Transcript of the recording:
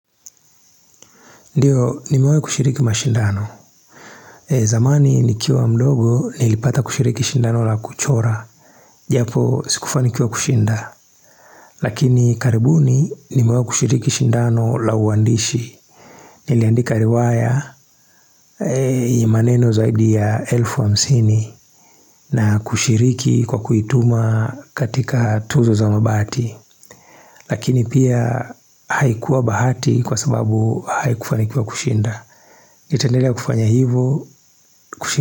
Ndiyo, nimewahi kushiriki mashindano. Zamani nikiwa mdogo, nilipata kushiriki shindano la kuchora. Japo sikufanikiwa kushinda. Lakini karibuni, nimewahi kushiriki shindano la uandishi. Niliandika riwaya, maneno zaidi ya elfu hamsini. Na kushiriki kwa kuituma katika tuzo za mabati. Lakini pia, haikuwa bahati kwa sababu haikufanikiwa kushinda. Nitaendelea kufanya hivyo.